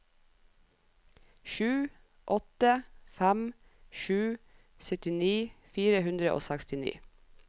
sju åtte fem sju syttini fire hundre og sekstini